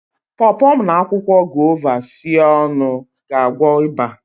paw paw na akwụkwọ guava sie ọnụ ga-agwọ ịba